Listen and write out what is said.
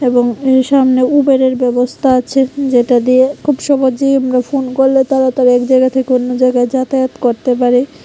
এবং এর সামনে উবেরের ব্যবস্থা আছে যেটা দিয়ে খুব সহজে আমরা ফোন করলে তারা এক জায়গা থেকে অন্য জায়গায় যাতায়াত করতে পারে।